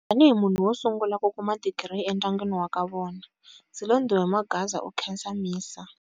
Tanihi munhu wo sungula ku kuma digiri endyangwini wa ka vona, Silondiwe Magwaza u khensa MISA.